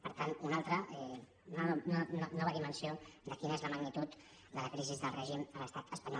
per tant una altra nova dimensió de quina és la magnitud de la crisi del règim a l’estat espanyol